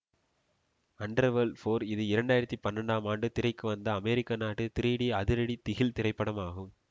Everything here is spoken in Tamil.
அண்டர்வேர்ல்ட் பௌர் இது இரண்டு ஆயிரத்தி பன்னிரெண்டாம் ஆண்டு திரைக்கு வந்த அமெரிக்க நாட்டு திரீடி அதிரடி திகில் திரைப்படம் ஆகும்